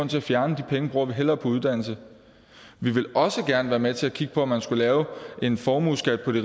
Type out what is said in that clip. til at fjerne de penge bruger vi hellere på uddannelse vi vil også gerne være med til at kigge på om man skulle lave en formueskat på de